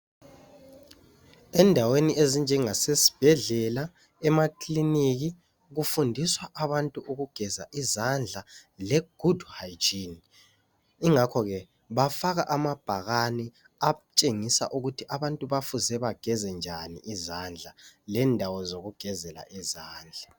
Endaweni ezinjengasesibhedlela, emakliniki kufundiswa abantu ukugeza izandla legood hygiene, ingakhoke bafaka amabhakani atshengisa ukuthi abantu bafuze bageze njani izandla lendawo zokugezela izandla.